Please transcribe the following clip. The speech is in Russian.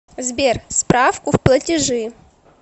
сбер справку в платежи